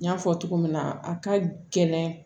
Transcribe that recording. N y'a fɔ cogo min na a ka gɛlɛn